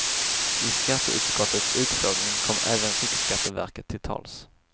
I skatteutskottets utfrågning kom även riksskatteverket till tals.